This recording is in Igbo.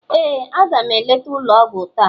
ee, a ga m eleta ụlọ ọgwụ taa.